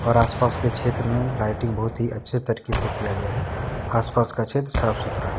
आस पास के क्षेत्र में लाइटिंग बहुत ही अच्छे तरीके से किया गया है आस पास का क्षेत्र साफ सुथरा है।